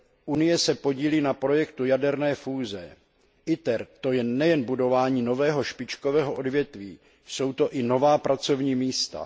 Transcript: Unie se podílí na projektu jaderné fúze. Projekt ITER, to je nejen budování nového špičkového odvětví, jsou to i nová pracovní místa.